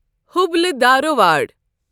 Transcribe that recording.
Hubli Dharwad